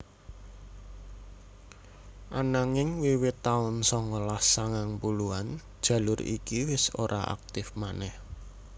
Ananging wiwit taun songolas sangang puluhan jalur iki wis ora aktif manèh